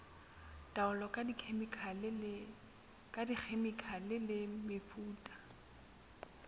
taolo ka dikhemikhale le mefuta